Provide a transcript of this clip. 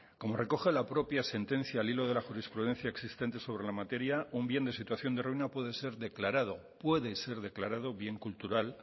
como recoge la propia sentencia al hilo de la jurisprudencia existente sobre la materia un bien de situación de ruina puede ser declarado bien cultural